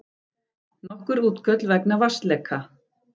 Nokkur útköll vegna vatnsleka